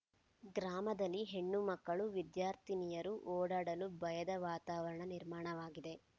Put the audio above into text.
ಗ್ರಾಮದಲ್ಲಿ ಹೆಣ್ಣು ಮಕ್ಕಳು ವಿದ್ಯಾರ್ಥಿನಿಯರು ಓಡಾಡಲು ಭಯದ ವಾತಾವರಣ ನಿರ್ಮಾಣವಾಗಿದೆ